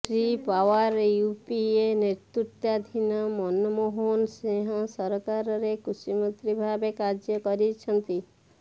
Shri Pawar UPA ନେତୃତ୍ବାଧୀନ ମନମୋହନ ସିଂହ ସରକାରରେ କୃଷିମନ୍ତ୍ରୀ ଭାବେ କାର୍ଯ୍ୟ କରିଛନ୍ତି